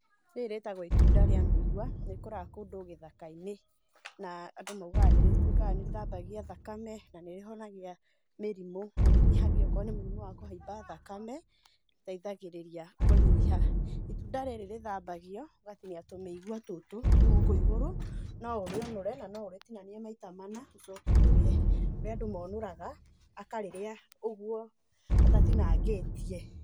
Rĩri rĩĩtagwo itunda rĩa mĩigua, rĩkũraga kũndũ gĩthakainĩ, na andũ maugaga nĩ rĩtuĩkaga nĩ rĩthambagia thakame, na nĩ rĩhonagia mĩrimũ, nĩ rĩnyihagia okorwo ni mũrimu wa kũhaiba thakame, nĩrĩteithagĩrĩria kũnyiha. Itunda rĩrĩ rĩthambagio ũgatinia tũmĩigua tũtũ twĩ gũkũ igũrũ, no ũrĩũnũre na no ũrĩtinanie maita mana, ũcoke ũrĩe. Nĩkũrĩ andũ monũraga akarĩrĩa ũguo atatinangĩtie.